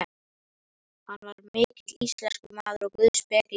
Hann var mikill íslenskumaður og guðspekingur.